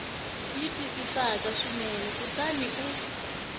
yi twisisaka swinene kutani u